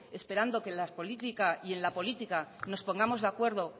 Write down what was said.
esperando que y en la política nos pongamos de acuerdo